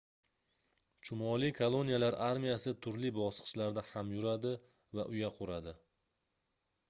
chumoli koloniyalar armiyasi turli bosqichlarda ham yuradi va uya quradi